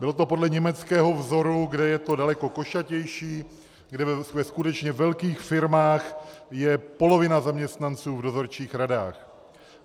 Bylo to podle německého vzoru, kde je to daleko košatější, kde ve skutečně velkých firmách je polovina zaměstnanců v dozorčích radách.